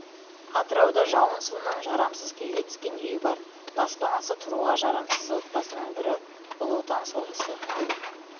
атырауда жауын суынан жарамсыз күйге түскен үй бар баспанасы тұруға жарамсыз отбасының бірі ұлы отан соғысы